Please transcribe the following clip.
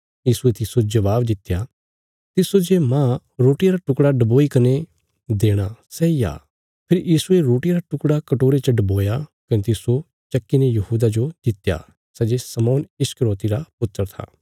यीशुये तिस्सो जवाब दित्या तिस्सो जे माह रोटिया रा टुकड़ा डबोई कने देणा सैई आ फेरी यीशुये रोटिया रा टुकड़ा कटोरे च डबोया कने तिस्सो चक्की ने यहूदा जो दित्या सै जे शमौन इस्करियोति रा पुत्र था